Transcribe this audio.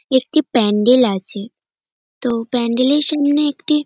একটি প্যান্ডেল আছে তো প্যান্ডেল -এর সামনে একটি--